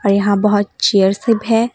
यहां बहुत चेयर सब है।